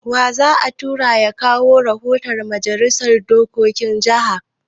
Wa za a tura ya kawo rahoton Majalisar dokokin jaha?